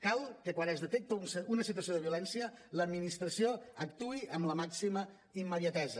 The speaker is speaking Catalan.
cal que quan es detecta una situació de violència l’administració actuï amb la màxima immediatesa